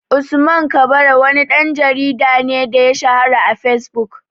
Usman kabara wani ɗan jarida ne da ya shahara a fesbuk